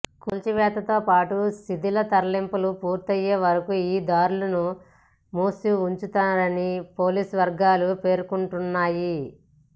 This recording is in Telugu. కూల్చివేతతో పాటు శిథిలాల తరలింపు పూర్తయ్యే వరకు ఈ దారులను మూసి ఉంచనున్నారని పోలీసువర్గాలు పేర్కొంటున్నాయి